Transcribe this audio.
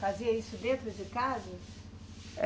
Fazia isso dentro de casa?